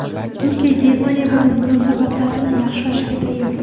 Turkiya Germaniya bilan munosabatlarni yaxshilashga tayyor.